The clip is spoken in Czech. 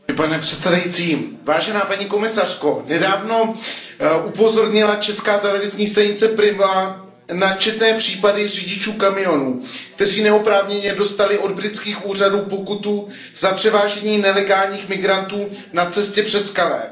Pane předsedající, paní komisařko, nedávno upozornila česká televizní stanice Prima na četné případy řidičů kamionů, kteří neoprávněně dostali od britských úřadů pokutu za převážení nelegálních migrantů na cestě přes Calais.